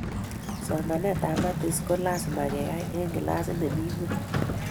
somoitab matis ko lasima keyai en klasit nemii ingweng